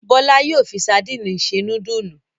Bọ́lá yóò fi sadínì se núdúlù.